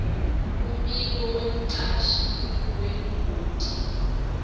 umbiko wemcashi wengoti